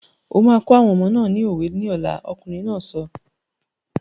O máa kọ́ àwọn ọmọ náà ni òwe ní ọ̀la! Ọkùnrin náà sọ.